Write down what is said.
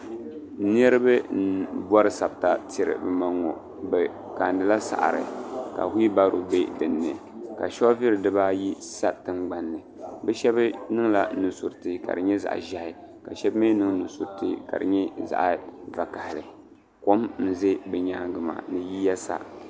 Niriba m bori sabta n tiri bɛ maŋa bɛ kaanila saɣari ka wibaro be dinni ka soobuli dibaayi sa tingbanni bɛ sheba niŋla nusuriti ka di nyɛ zaɣa ʒehi ka sheba mee niŋ nusuriti ka di nyɛ zaɣa vakahali kom n ʒɛ bɛ nyaaga maa ni yiya sa.